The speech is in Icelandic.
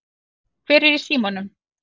Hver er í símanum?